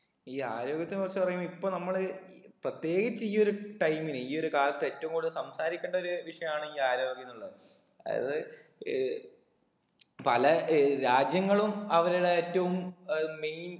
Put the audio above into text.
ഈ ആരോഗ്യത്തിനെ കുറിച്ച് പറയുമ്പൊ ഇപ്പൊ നമ്മള് പ്രത്യേകിച്ച് ഈ ഒരു time ന് ഈ ഒരു കാലത്ത് ഏറ്റവും കൂടുതൽ സംസാരിക്കണ്ട ഒരു വിഷയമാണ് ഈ ആരോഗ്യംന്നുള്ളത് അതായത് ഏർ പല ഏർ രാജ്യങ്ങളും അവരുടെ ഏറ്റവും ഏർ main